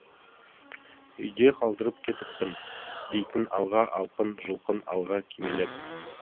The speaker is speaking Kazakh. үйде қалдырып кетіппін дейтін алға алқын жұлқын алға кимелеп